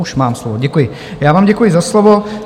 Už mám slovo, děkuji, já vám děkuji za slovo.